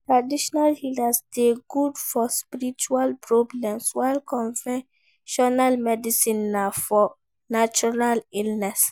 Traditional healer de good for spiritual problems while conventional medicine na for natural illness